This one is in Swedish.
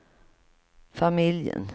familjen